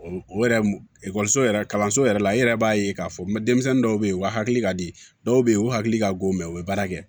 E ekɔliso yɛrɛ kalanso yɛrɛ la i yɛrɛ b'a ye k'a fɔ n bɛ denmisɛnnin dɔw bɛ ye u ka hakili ka di dɔw bɛ yen u hakili ka go mɛ u bɛ baara kɛ